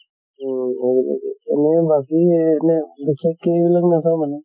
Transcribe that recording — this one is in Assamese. তʼ এনেকাকে বাকী regional এইবিলাক নাচাও মানে।